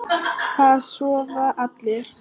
Það sofa allir.